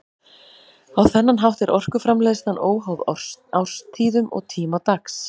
Á þennan hátt er orkuframleiðslan óháð árstíðum og tíma dags.